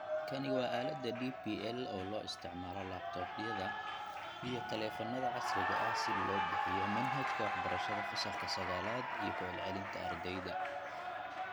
Kani waa aaladda DPL ee loo isticmaalo laptops-yada iyo taleefannada casriga ah si loo bixiyo manhajka waxbarashada Fasalka 9 iyo ku celcelinta ardayda.